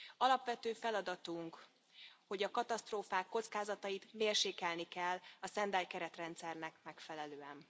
Alapvető feladatunk, hogy a katasztrófák kockázatait mérsékelni kell a stand by keretrendszernek megfelelően.